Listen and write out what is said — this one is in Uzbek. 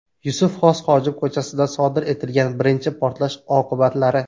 Yusuf Xos Xojib ko‘chasida sodir etilgan birinchi portlash oqibatlari.